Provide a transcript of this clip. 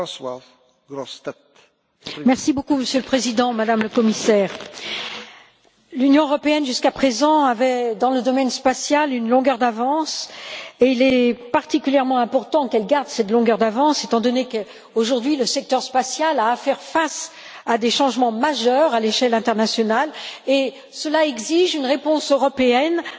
Monsieur le Président, Madame la Commissaire, l'Union européenne avait jusqu'à présent, dans le domaine spatial, une longueur d'avance, et il est particulièrement important qu'elle garde cette longueur d'avance étant donné qu'aujourd'hui, le secteur spatial doit faire face à des changements majeurs à l'échelle internationale et cela exige une réponse européenne à la hauteur des enjeux, qui sont immenses.